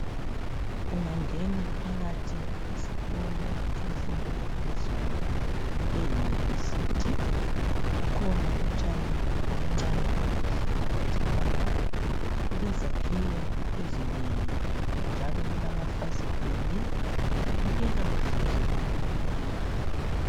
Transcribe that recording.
Ungangena phakathi esikolo semfundo yaphezulu eyunivesithi kukhona utshani obuncane obuhle phakathi lapha, kulezakhiwo ezinengi njalo kulamafasitela .Kubukeka kuhlanzekile kuleyi ndawo.